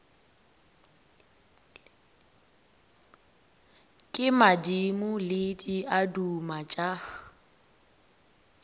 ke madimo le diaduma tša